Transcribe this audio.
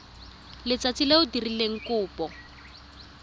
letsatsi le o dirileng kopo